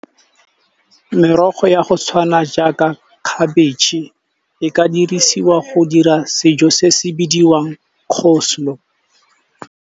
Merogo ya go tshwana jaaka khabetšhe, e ka dirisiwa go dira sejo se se bidiwang coleslaw.